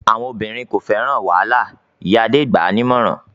"Àwọn obìnrin kò fẹ́ràn wàhálà!" Ìyá Adé gbà á ní ìmọ̀ràn.